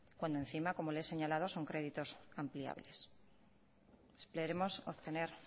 cuando encima como le he señalado son créditos ampliables esperemos obtener